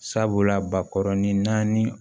Sabula bakɔrɔ ni naani